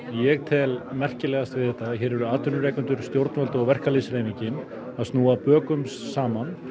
ég tel merkilegast við þetta að hér eru atvinnurekendur stjórnvöld og verkalýðshreyfingin að snúa bökum saman